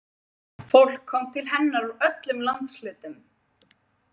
Fólk kom til hennar úr öllum landshlutum.